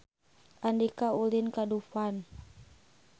Andika ulin ka Dufan